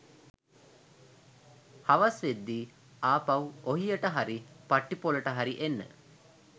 හවස් වෙද්දි ආපහු ඔහියට හරි පට්ටිපොලට හරි එන්න